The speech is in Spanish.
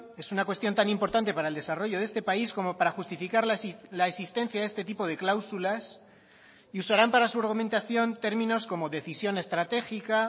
es una cuestión tan importante para el desarrollo de este país como para justificar la existencia de este tipo de cláusulas y usarán para su argumentación términos como decisión estratégica